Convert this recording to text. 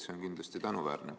See on kindlasti tänuväärne.